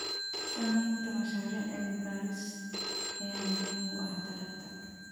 Samaynta mashaariic cilmi baaris ayaa muhiim u ah taranta.